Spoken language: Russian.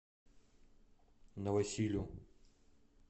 новосилю